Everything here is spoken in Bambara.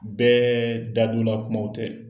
Bɛɛ dadola kumaw tɛ.